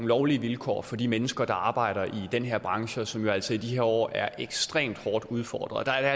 lovlige vilkår for de mennesker der arbejder i den her branche og som jo altså i de her år er ekstremt hårdt udfordret der er